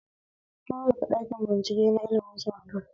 Fito daga ɗakin binciken ilmin sinadarai